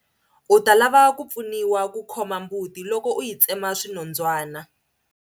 U ta lava ku pfuniwa ku khoma mbuti loko u yi tsemeta swinondzwana.